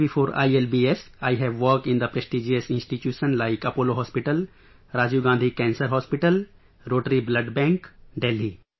Even before ILBS, I have worked in prestigious institutions like Apollo Hospital, Rajiv Gandhi Cancer Hospital, Rotary Blood Bank, Delhi